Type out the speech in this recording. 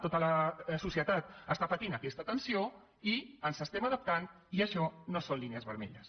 tota la societat pateix aquesta tensió i ens adaptem i això no són línies vermelles